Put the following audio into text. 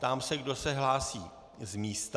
Ptám se, kdo se hlásí z místa.